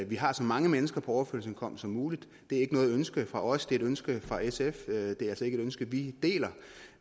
vi har så mange mennesker på overførselsindkomst som muligt det er ikke noget ønske fra os det er et ønske fra sf det er altså ikke et ønske vi deler